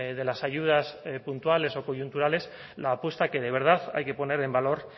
de las ayudas puntuales o coyunturales la apuesta que de verdad hay que poner en valor